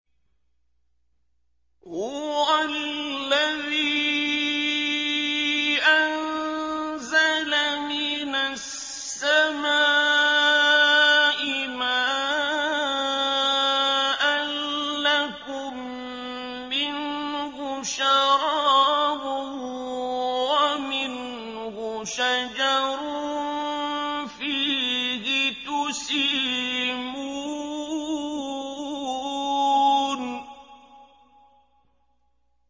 هُوَ الَّذِي أَنزَلَ مِنَ السَّمَاءِ مَاءً ۖ لَّكُم مِّنْهُ شَرَابٌ وَمِنْهُ شَجَرٌ فِيهِ تُسِيمُونَ